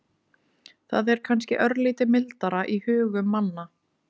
Það er kannski örlítið mildara í hugum manna.